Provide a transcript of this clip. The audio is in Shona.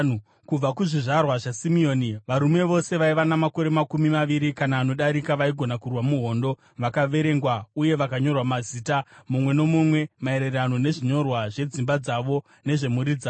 Kubva kuzvizvarwa zvaSimeoni: Varume vose vaiva namakore makumi maviri kana anodarika vaigona kurwa muhondo vakaverengwa uye vakanyorwa mazita, mumwe nomumwe, maererano nezvinyorwa zvedzimba dzavo nezvemhuri dzavo.